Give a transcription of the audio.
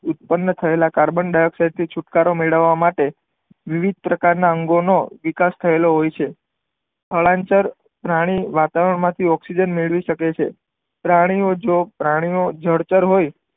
ઉત્તપન થયેલા carbon dioxide થી છુટકારો મેળવા માટે વિવિધ પ્રકારના અંગો નો વિકાસ થયેલો હોય છે સ્થળાંતર પ્રાણી વાતાવરણ માંથી ઓકઝીજન મેળવી શકે છે પ્રાણી ઓ પ્રાણી ઓ જળચર હોય